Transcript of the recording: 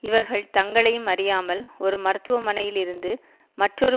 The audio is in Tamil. இவர்கள் தங்களையும் அறியாமல் ஒரு மருத்துவமனையில் இருந்து மற்றொரு